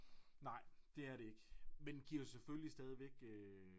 Nej det er det ikke men giver selvfølgelig stadigvæk øh